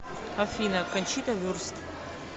афина кончита вюрст